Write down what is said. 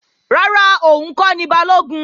Rárá, òun kọ́ ni Balógun